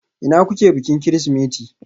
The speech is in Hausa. Ina kuke bikin Kirsimeti?